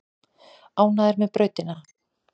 Ánægðir með brautina